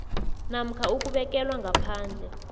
namkha ukubekelwa ngaphandle